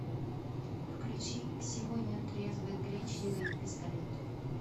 включи сегодня трезвый гречневый пистолет